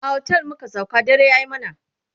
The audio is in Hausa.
a otel muka sauka dare yayi mana